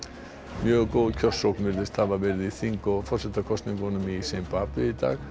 mjög góð kjörsókn virðist hafa verið í þing og forsetakosningum í Simbabve í dag